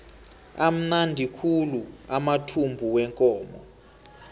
amnandi khulu amathumbu wekomo